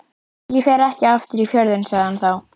Ég fer ekki aftur í Fjörðinn, segir hann þá.